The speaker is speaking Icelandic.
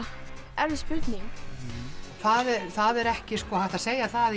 erfið spurning það er ekki hægt að segja það í